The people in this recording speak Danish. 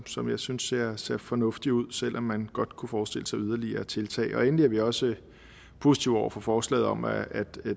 som jeg synes ser ser fornuftig ud selv om man godt kunne forestille sig yderligere tiltag endelig er vi også positive over for forslaget om at